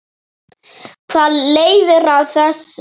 Hvað leiðir af þessu?